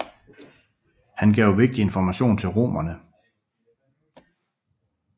Han gav vigtig information til romerne